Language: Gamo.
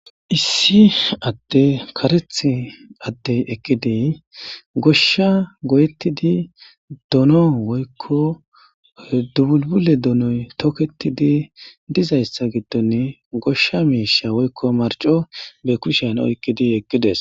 issi adde karetha addey eqqidey goshsha goyetidi dono woykko dubulbule donoy toketidi dizayssa giddonni goshsha miisha woykko marco be kushen oyqqidi eqqides.